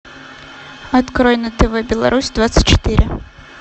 открой на тв беларусь двадцать четыре